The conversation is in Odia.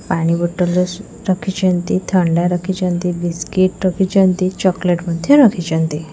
ପାଣି ବୋତଲ ରଖିଛନ୍ତି ଥଣ୍ଡା ରଖିଛନ୍ତି ବିସ୍କୁଟ ରଖିଛନ୍ତି ଚକୋଲେଟ୍ ମଧ୍ୟ ରଖିଛନ୍ତି।